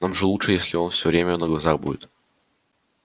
нам же лучше если он все время на глазах будет